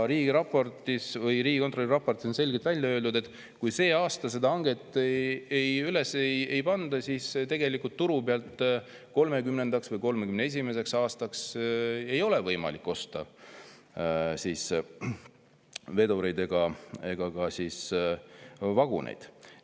Riigikontrolli raportis on selgelt välja öeldud, et kui see aasta seda hanget üles ei panda, siis turu pealt ei ole võimalik 2030. või 2031. aastaks osta vedureid ega ka vaguneid.